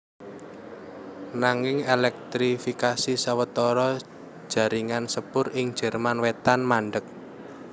Nanging èlèktrifikasi sawetara jaringan sepur ing Jerman Wétan mandheg